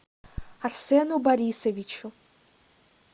арсену борисовичу